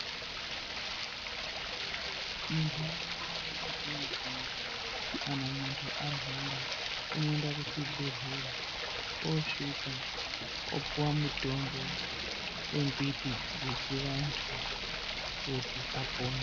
Muntaraunda mwedu mwetinogara kana muntu arwara unoenda kuchibhehlera osvika opuwa mutombo wembiti dzechivantu kuti apone.